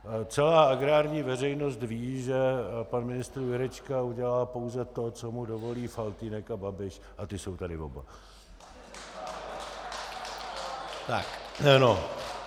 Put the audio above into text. Celá agrární veřejnost ví, že pan ministr Jurečka udělá pouze to, co mu dovolí Faltýnek a Babiš, a ti jsou tady oba.